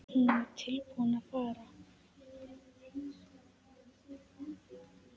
Hún var tilbúin að fara.